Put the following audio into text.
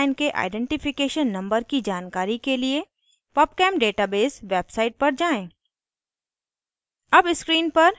एक निश्चित रसायन के identification numbers की जानकारी के लिए pubchem database website पर जाएँ